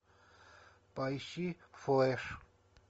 поищи флэш